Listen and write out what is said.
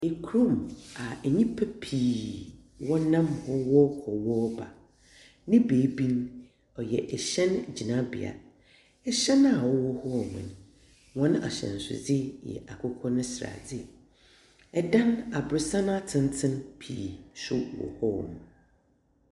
Ekurom a nnipa pii ɔnam hɔ wɔɔkɔ na ɔreba. Ne baabi no, ɔyɛ ɛhyɛn gyinabea. Ahyɛn a ɛwɔ hɔ nom, hɔn ahyɛnsode yɛ akokɔ no sradeɛ. Ɛdan aboronsan tenten nso wɔ hɔ nom.